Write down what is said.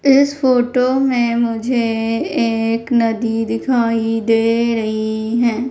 इस फोटो में मुझे एक नदी दिखाई दे रही है।